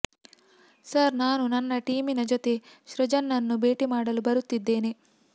sir ನಾನು ನನ್ನ ಟೀಮಿನ ಜೊತೆ ಸೃಜನ್ ನನ್ನು ಭೇಟಿ ಮಾಡಲು ಬರುತ್ತಿದ್ದೇನೆ